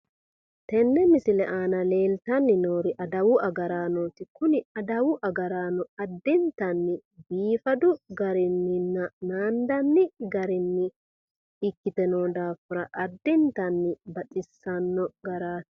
tenne misile aana leeltanni noori adawu agaraanooti tini adawu agaraano addintanni biifadu garinninna naandanni garinni ikkite noo daafira addintanni baxissanno garaati.